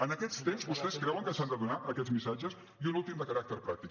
en aquests temps vostès creuen que s’han de donar aquests missatges i un últim de caràcter pràctic